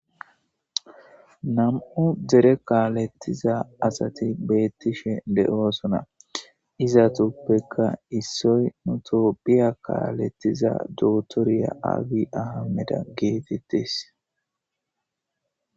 Nam'u dere kaalettiza asati beettishe de'oosona izatuppeka issoy nutoppiya kaalettiza dootoriya agi ahameda geetettis